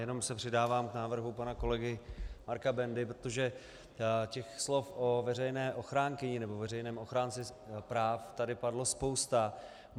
Jenom se přidávám k návrhu pana kolegy Marka Bendy, protože těch slov o veřejné ochránkyni nebo veřejném ochránci práv tady padlo spousta.